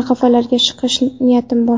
nafaqalarga chiqish niyatim bor.